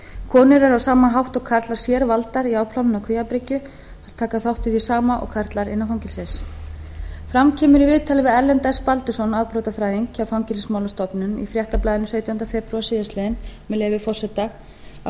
konur eru á sama hátt og karlar sérvaldar í afplánun á kvíabryggju þær taka þátt í því sama og karlar innan fangelsis fram kemur í viðtali við erlend baldursson afbrotafræðing hjá fangelsismálastofnun í fréttablaðinu sautjánda febrúar síðastliðinn með leyfi forseta að